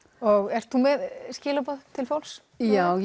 ert þú með skilaboð til fólks já